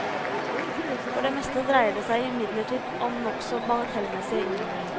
For det meste dreier det seg imidlertid om nokså bagatellmessige innvendinger.